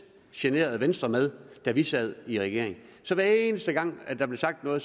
generede venstre med da vi sad i regering hver eneste gang der blev sagt noget